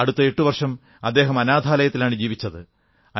അടുത്ത 8 വർഷം അദ്ദേഹം അനാഥാലയത്തിലാണ് ജീവിച്ചത്